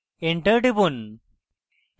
enter টিপুন